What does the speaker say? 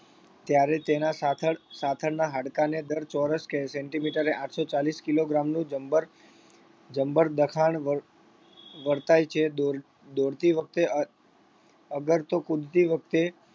ત્યારે તેના સાથળ સાથળના હાડકાને દર ચોરસ centimeter એ આઠસો ચાલીસ kilogram નું જબ્બર જબ્બર દખાણ વર વર્તાય છે દોડ દોડતી વખતે અ અગર તો કૂદતી વખતે